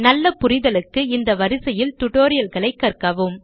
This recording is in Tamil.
நல்ல புரிதலுக்கு இந்த வரிசையில் டுடோரியல்களை கற்கவும்